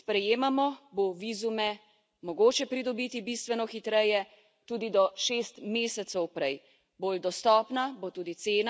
Z novimi pravili, ki jih sprejemamo, bo vizume mogoče pridobiti bistveno hitreje tudi do šest mesecev prej.